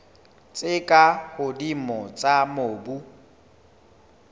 tse ka hodimo tsa mobu